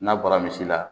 N'a bɔra misi la